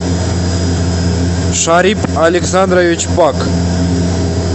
шарип александрович пак